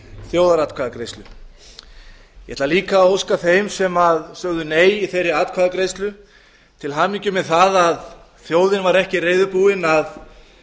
þjóðaratkvæðagreiðslu ég ætla líka að óska þeim sem sögðu nei í þeirri atkvæðagreiðslu til hamingju með það að þjóðin var ekki reiðubúin að